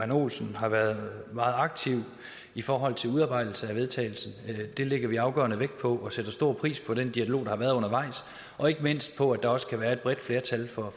olsen har været meget aktiv i forhold til udarbejdelsen af vedtagelse det lægger vi afgørende vægt på og vi sætter stor pris på den dialog der har været undervejs og ikke mindst på at der også kan være et bredt flertal for